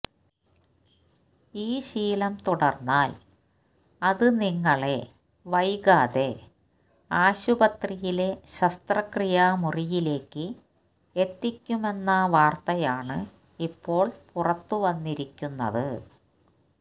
ഈ ശീലം തുടര്ന്നാല് അത് നിങ്ങളെ വൈകാതെ ആശുപത്രിയിലെ ശസ്ത്രക്രിയാ മുറിയിലേക്ക് എത്തിക്കുമെന്ന വാര്ത്തയാണ് ഇപ്പോള് പുറത്തുവന്നിരിക്കുന്നത്